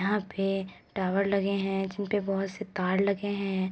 यहां पे टावर लगे हैं जिनपे बहोत से तार लगे हैं।